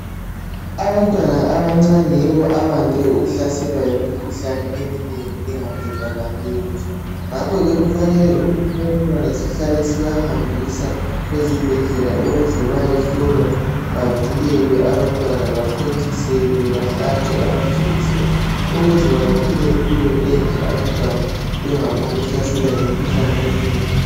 Abantwana abancani yibo abande ukuhlaselwa yimikhuhlane eminengi engaqedakaliyo ngakho ke kufanele ukuthi abantwana sihlale sibahambisa ezibhedlela ukuze bayahlolwa bavikelwe bathontiselwe bahlatshwe amajekiseni ukuze baphile empilo enhle bengaphombu kuhlaselwa yimikhuhlane